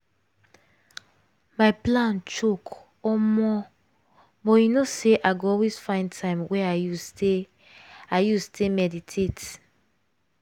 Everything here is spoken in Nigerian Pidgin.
my plan choke omo!!! but you know say i go always find time wey i use take i use take meditate.